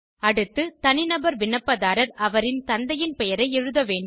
அடுத்து தனிநபர் விண்ணப்பதாரர் அவரின் தந்தையின் பெயரை எழுத வேண்டும்